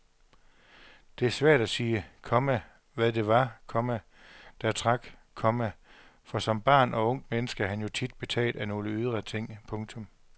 Det er svært at sige, komma hvad det var, komma der trak, komma for som barn og ungt menneske er man jo tit betaget af nogle ydre ting. punktum